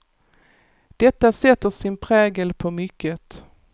Detta sätter sin prägel på mycket.